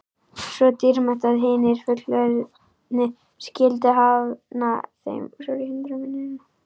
Svo dýrmætt að hinir fullorðnu skyldu hafna þeim.